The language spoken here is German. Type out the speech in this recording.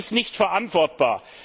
Das ist nicht verantwortbar.